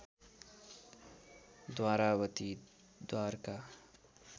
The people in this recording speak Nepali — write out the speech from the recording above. द्वारावती द्वारका